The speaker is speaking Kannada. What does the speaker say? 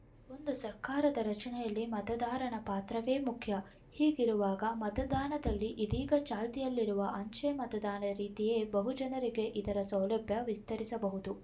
ಒಂದು ಸರ್ಕಾರದ ರಚನೆಯಲ್ಲಿ ಮತದಾರನ ಪಾತ್ರವೇ ಮುಖ್ಯ ಹೀಗಿರುವಾಗ ಮತದಾನದಲ್ಲಿ ಇದೀಗ ಚಾಲ್ತಿಯಲ್ಲಿರುವ ಅಂಚೆ ಮತದಾನದ ರೀತಿಯೇ ಬಹುಜನರಿಗೆ ಇದರ ಸೌಲಭ್ಯ ವಿಸ್ತರಿಸಬಹುದು